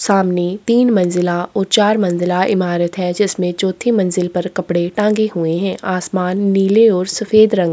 सामने तीन मंज़िला ओर चार मंज़िला इमारत है जिसमें चौथी मंजिल पर कपड़े टांगे हुवे है आसमान नीले और सफेद रंग का हैं।